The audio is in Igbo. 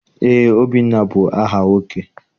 Eé, Obinna bụ aha nwoke.